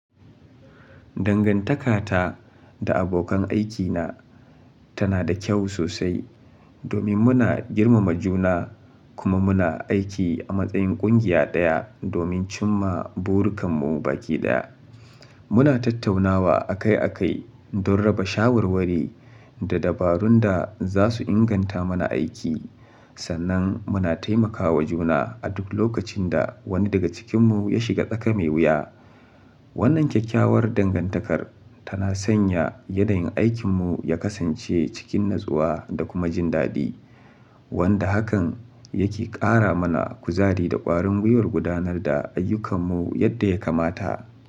Dangantakata da abokan aikina tana da kyau sosai domin muna girmama juna kuma muna aiki a matsayin ƙungiya ɗaya domin cimma burakanmu baki ɗaya. Muna tattaunawa akai-akai don raba shawarwari da dabarun da za su inganta mana aiki, sannan muna taimakawa juna a duk lokacin da wani daga cikinmu ya shiga tsaka me wuya. Wannan kyakkyawar dangantakar tana sanya yadda yin aikinmu ya kasance cikin natsuwa da kuma jin daɗi, wanda hakan yake ƙara mana kuzari da ƙwarin gwiwar gudanar da ayyukanmu yadda ya kamata.